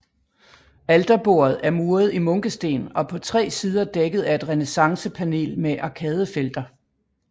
Alterbordet er muret i munkesten og på tre sider dækket af et renæssancepanel med arkadefelter